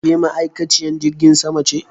Ke ma'aikaciyen jirgin sama ce